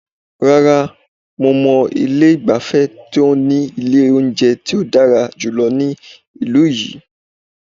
Rara, mo mọ ilé ìgbafẹ́ tí o ní ilé oúnjẹ tí o dára jùlọ ní ìlú yìí.